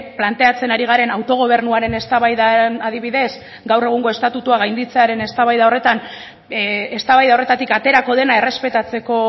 planteatzen ari garena autogobernuaren eztabaidan adibidez gaur egungo estatutua gainditzearen eztabaida horretan eztabaida horretatik aterako dena errespetatzeko